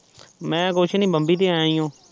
ਮੈਂ ਕੁਛ ਨੀ ਬੰਬਈ ਤੇ ਆਯਾ ਆ